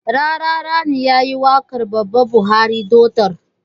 Rarara ne yayi waƙar baba buhari ɗoɗar